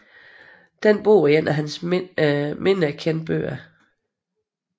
Denne bog er en af hans mindre kendte bøger